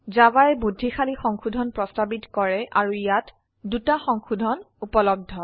জাভায়ে বুদ্ধিশালী সংশোধন প্ৰস্তাবিত কৰে আৰু ইয়াত 2টা সংশোধন উপলব্ধ